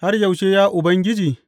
Har yaushe, ya Ubangiji?